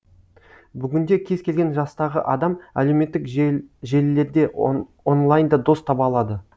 бүгінде кез келген жастағы адам әлеуметтік желілерде онлайнда дос таба алады